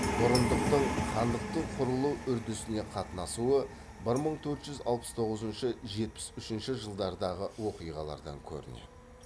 бұрындықтың хандықтың құрылу үрдісіне қатынасуы бір мың төрт жүз алпыс тоғызыншы жетпіс үшінші жылдардағы оқиғалардан көрінеді